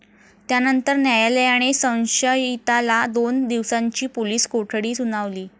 त्यानंतर न्यायालयाने संशयिताला दोन दिवसांची पोलीस कोठडी सुनावली.